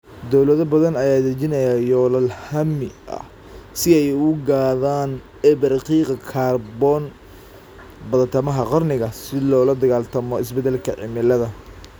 Dawlado badan ayaa dejinaya yoolal hammi ah si ay u gaadhaan eber qiiqa kaarboon badhtamaha qarniga si loola dagaallamo isbeddelka cimilada.